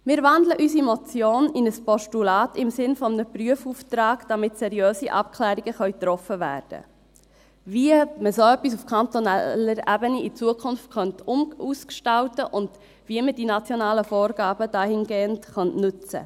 Wir wandeln unsere Motion in ein Postulat im Sinne eines Prüfauftrags, damit seriöse Abklärungen getroffen werden können, wie man so etwas in Zukunft auf kantonaler Ebene ausgestalten und wie man die nationalen Vorgaben dahingehend nutzen könnte.